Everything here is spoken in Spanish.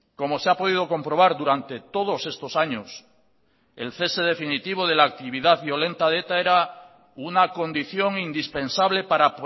como se ha podido comprobar durante todos estos años el cese definitivo de la actividad violenta de eta era una condición indispensable para